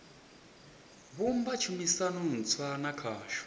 vhumba tshumisano ntswa na khasho